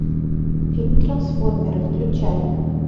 фильм трансформеры включай